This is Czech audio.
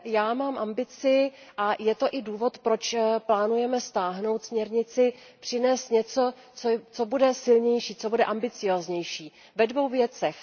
Já mám ambici a je to i důvod, proč plánujeme stáhnout směrnici, přinést něco, co bude silnější, ambicióznější ve dvou věcech.